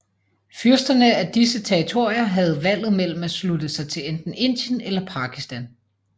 Fyrsterne af disse territorier havde valget mellem at slutte sig til enten Indien eller Pakistan